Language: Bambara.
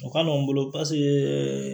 O ka nɔgɔn n bolo paseke